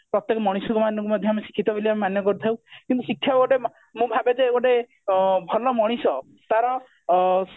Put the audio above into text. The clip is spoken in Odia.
ପ୍ରତେକ ମଣିଷମାନଙ୍କୁ ମଧ୍ୟ ଆମେ ଶିକ୍ଷିତ ବୋଲି ଆମେ ମାନ୍ୟ କରିଥାଉ କିନ୍ତୁ ଶିକ୍ଷକ ଗୋଟେ ମୁଁ ଭାବେ ଯେ ଗୋଟେ ଭଲ ମଣିଷ ତାର ଅ